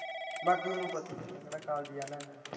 ਬਾਕੀ ਤੁਹਾਨੂੰ ਪਤਾ ਹੀ ਹੈ ਮੈਂ ਕਿਹੜਾ ਕਾਲਜ ਜਾਣਾ ਇਹਨਾਂ।